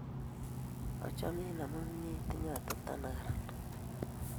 Achamin amun inye itinye atepto nekararan